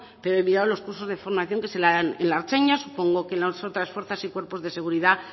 pero he mirado los cursos de formación que se dan en la ertzaintza supongo que en las otras fuerzas y cuerpos de seguridad